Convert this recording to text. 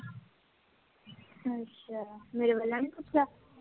ਅੱਛਾ, ਮੇਰੇ ਵੱਲੋਂ ਨੀ ਪੁੱਛਿਆ?